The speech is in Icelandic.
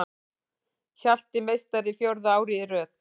Hjalti meistari fjórða árið í röð